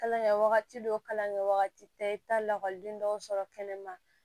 Kalan kɛ wagati dɔw kalan kɛ wagati bɛɛ i bɛ taa lakɔliden dɔw sɔrɔ kɛnɛma